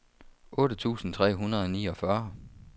otte tusind tre hundrede og niogfyrre